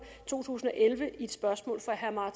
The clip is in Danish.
to tusind og elleve i et spørgsmål fra herre